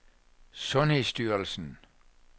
sundhedsstyrelsen